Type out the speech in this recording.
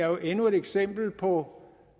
jo er endnu et eksempel på